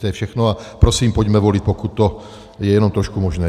To je všechno a prosím, pojďme volit, pokud to je jenom trošku možné.